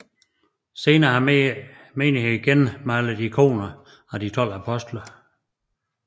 Senere har menigheden genmalet ikoner af de 12 apostle